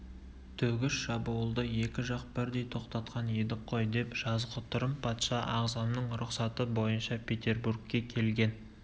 төгіс шабуылды екі жақ бірдей тоқтатқан едік қой деп жазғытұрым патша ағзамның рұқсаты бойынша петербургке келген